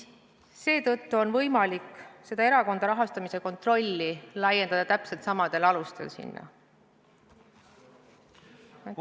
Seetõttu on võimalik erakondade rahastamise kontroll täpselt samadel alustel sinna üle anda.